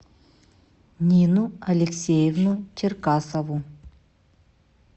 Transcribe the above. нину алексеевну черкасову